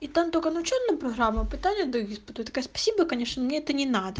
и там только начальная программа пытання даю испытываю я такая спасибо конечно мне это не надо